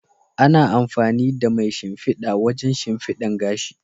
Ana amfani da mai shimfida wajen shimfidan gashi.